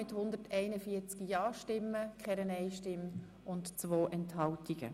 Sie haben den Grossratsbeschluss angenommen.